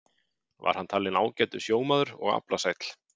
Var hann talinn ágætur sjómaður og aflasæll.